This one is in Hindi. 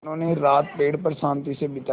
उन्होंने रात पेड़ पर शान्ति से बिताई